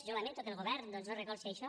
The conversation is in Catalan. jo lamento que el govern doncs no recolzi això